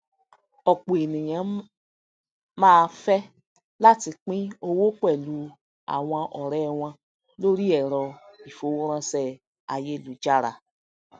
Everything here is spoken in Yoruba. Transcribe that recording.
òpò ènìyàn máá fé láti pín owó pèlú àwọn òré wọn lórí èrọ ìfowóránsé ayélujára